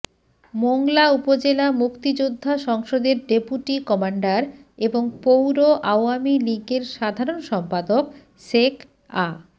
মোংলা উপজেলা মুক্তিযোদ্ধা সংসদের ডেপুটি কমান্ডার এবং পৌর আওয়ামী লীগের সাধারণ সম্পাদক শেখ আ